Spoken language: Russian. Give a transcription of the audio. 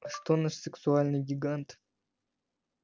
а что наш сексуальный гигант